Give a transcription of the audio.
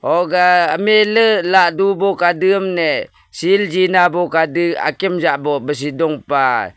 huga mla lah khade ne sil jena kade akim jabu donpa.